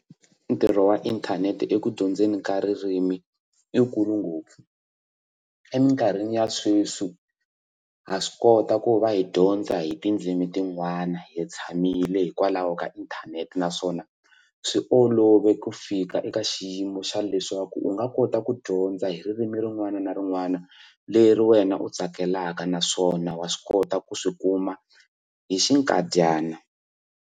Ntirho wa inthanete eku dyondzeni ka ririmi i wukulu ngopfu emikarhini ya sweswi ha swi kota ku va hi dyondza hi tindzimi tin'wana hi tshamile hikwalaho ka inthanete naswona swi olove ku fika eka xiyimo xa leswaku u nga kota ku dyondza hi ririmi rin'wana na rin'wana leri wena u tsakelaka naswona wa swi kota ku swi kuma hi xikadyana.